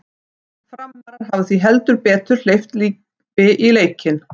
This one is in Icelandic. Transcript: Framarar hafa því heldur betur hleypt lífi í leikinn!